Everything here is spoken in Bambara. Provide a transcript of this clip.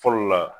Fɔlɔ la